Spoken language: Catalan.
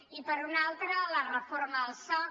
i per una altra la reforma del soc